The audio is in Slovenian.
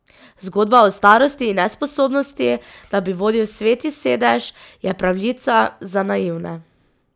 Zgodba o starosti in nesposobnosti, da bi vodil Sveti sedež, je pravljica za naivne.